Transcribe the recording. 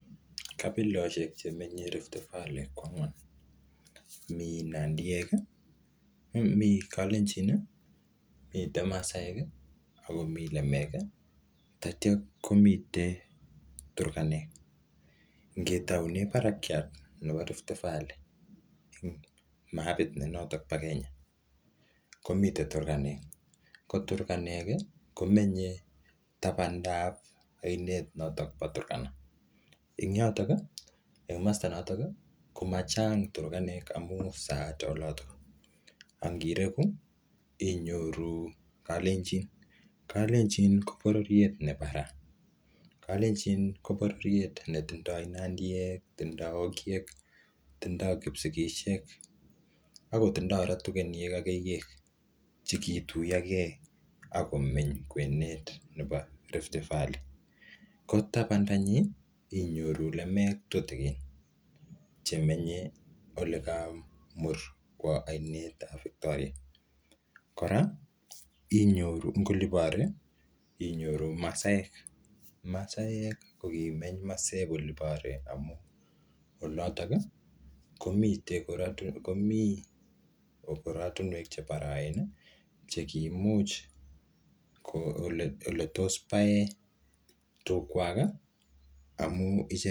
Kabiloshek che menye Rift Valley ko angwan. Mii nandiyek,[um] mi kalenjin, mitei masaek, akomii lemek, tatya komite turkanek. Ngetaune barakiat nebo Rift Valley, eng mapit ne notok po Kenya, komite turkanek. Ko turkanek, komenye tabandap ainet notok po turkana. Eng yotok, eng masta notok, ko machang turkanek amuu saat olotok. Angireku, inyoru kalenjin. Kalenjin ko bororiet ne barai. Kalenjin ko bororiet ne tindoi nandiek, tindoi ogiek, tindoi kipsigisiek, ako tindoi kora tugeniek ak keyiek, che kituyokee akomeny kwenet nebo Rift Valley. Ko tabanda nyii, inyoru lemek tutikin. Che menye ole kamur kwoo ainet ap Victoria. Kora, inyoru eng oli bore, inyoru masaek. Masaek, ko kimeny masep oli bore amu olotok, komitei komii oratunwek che baraen, che kimuch ko ole ole tos pae tug kwak, amuu ichek